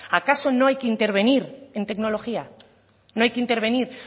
acaso no hay que intervenir en tecnología no hay que intervenir